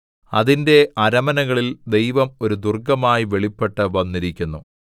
അതിന്റെ അരമനകളിൽ ദൈവം ഒരു ദുർഗ്ഗമായി വെളിപ്പെട്ട് വന്നിരിക്കുന്നു